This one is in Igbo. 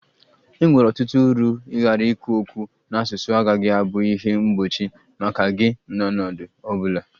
E nwere ọtụtụ uru ịghara ikwu okwu n'asụsụ agaghị abụ ihe mgbochi maka gị n'ọnọdụ ọ bụla